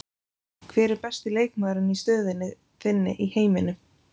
Hver er besti leikmaðurinn í stöðunni þinni í heiminum?